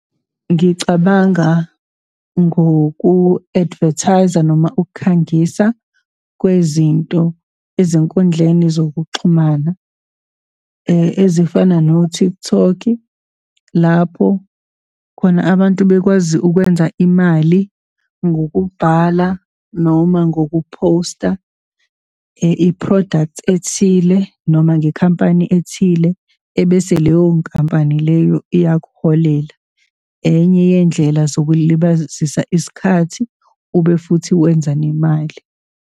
Ngicabanga ngoku-advertise-a noma ukukhangisa kwezinto ezinkundleni zokuxhumana, ezifana no-TikTok, lapho khona abantu bekwazi ukwenza imali ngokubhala noma ngokuphosta i-product ethile, noma ngekhampani ethile ebese leyo nkampani leyo iyakuholela. Enye yendlela zokuzilibazisa isikhathi, ube futhi wenza nemali.